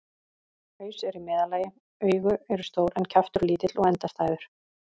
Haus er í meðallagi, augu eru stór en kjaftur lítill og endastæður.